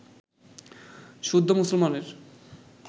শুদ্ধ মুসলমানের